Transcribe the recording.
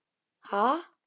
Ha?